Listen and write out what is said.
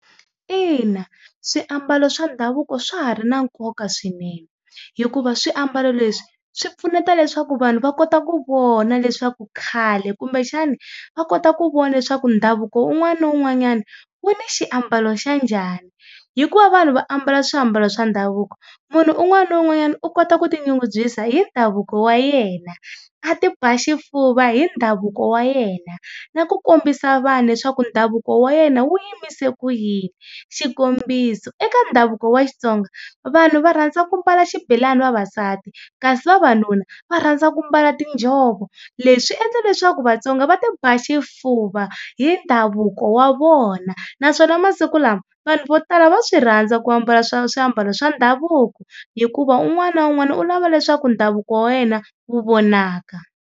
Ina, swiambalo swa ndhavuko swa ha ri na nkoka swinene hikuva swiambalo leswi swi pfuneta leswaku vanhu va kota ku vona leswaku khale kumbe xana va kota ku vona leswaku ndhavuko wun'wana na wun'wanyana wu ni xiambalo xa njhani. Hi ku va vanhu va ambala swiambalo swa ndhavuko munhu un'wana ni un'wanyana u kota ku tinyungubyisa hi ndhavuko wa yena a ti ba xifuva hi ndhavuko wa yena na ku kombisa vanhu leswaku ndhavuko wa yena wu yimise ku yini. Xikombiso eka ndhavuko wa Xitsonga vanhu va rhandza ku mbala xibelani vavasati kasi vavanuna va rhandza ku mbala tinjhovo, leswi endla leswaku Vatsonga va ti ba xifuva hi ndhavuko wa vona naswona masiku lama vanhu vo tala va swi rhandza ku ambala swa swiambalo swa ndhavuko hikuva un'wana na un'wana u lava leswaku ndhavuko wa wena wu vonaka.